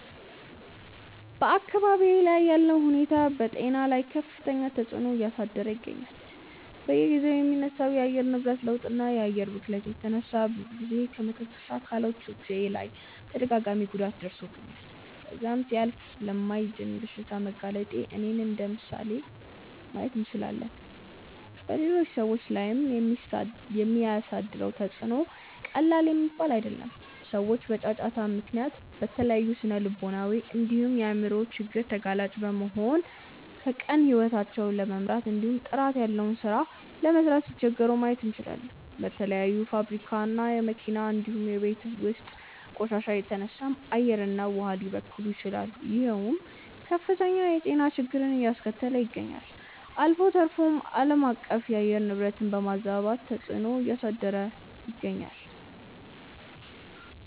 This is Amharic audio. በአካባብዬ ላይ ያለው ሁኔታ በጤና ላይ ከፍተኛ ተፅዕኖ እያሳደረ ይገኛል። በየጊዜው ከሚነሳው የአየር ንብረት ለውጥ እና የአየር ብክለት የተነሳ ብዙ ጊዜ በመተንፈሻ አካሎቼ ላይ ተደጋጋሚ ጉዳት ደርሶብኝ ከዛም ሲያልፍ ለማይድን በሽታ በመጋለጤ እኔን እንደምሳሌ ማየት እንችላለን። በሌሎች ሰዎች ላይም የሚያሳድረው ተፅዕኖ ቀላል የሚባል አይደለም። ሰዎች በጫጫታ ምክንያት ለተለያዩ ስነልቦናዊ እንዲሁም የአይምሮ ችግር ተጋላጭ በመሆን ቀን ከቀን ሂወታቸውን ለመምራት እንዲሁም ጥራት ያለው ሥራ ለመስራት ሲቸገሩ ማየት እንችላለን። በተለያዩ የፋብሪካ እና የመኪና እንዲሁም የቤት ውስጥ ቆሻሻ የተነሳም አየር እና ውሃ ሊበከሉ ይችላሉ ይሄውም ከፍተኛ የጤና ችግርን አያስከተለ ይገኛል። አልፎ ተርፎም አለማቀፍ የአየር ንብረትን በማዛባት ተፅዕኖ እያሳደረ ይገኛል።